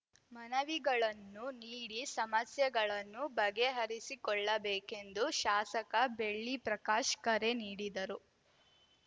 ಮನವಿಗಳನ್ನು ನೀಡಿ ಸಮಸ್ಯೆಗಳನ್ನು ಬಗೆಹರಿಸಿಕೊಳ್ಳಬೇಕೆಂದು ಶಾಸಕ ಬೆಳ್ಳಿಪ್ರಕಾಶ್‌ ಕರೆ ನೀಡಿದರು